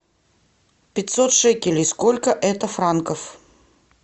пятьсот шекелей сколько это франков